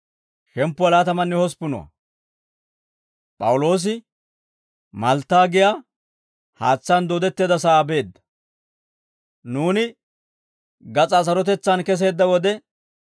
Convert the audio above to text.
Nuuni gas'aa sarotetsaan keseedda wode, he haatsaan dooddetteedda sa'ay Malttaa geetettiyaawaa ereeddo.